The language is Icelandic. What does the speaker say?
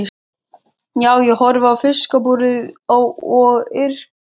Já, ég horfi á fiskabúrið og yrki.